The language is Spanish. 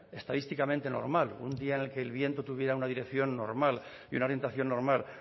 estadísticamente normal un día en la que el viento tuviera una dirección normal y una orientación normal